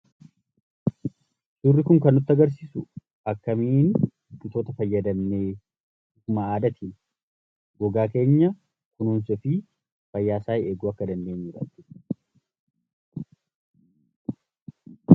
Suurri kun kan nutti agarsiisu akkamiin wantoota fayyadamnee gogaa keenya kunuunsuu fi fayyaa isaa eeguu akka dandeenyudha jechuudha.